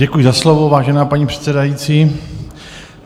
Děkuji za slovo, vážená paní předsedající.